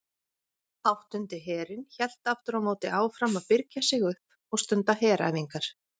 Áttundi herinn hélt aftur á móti áfram að birgja sig upp og stunda heræfingar.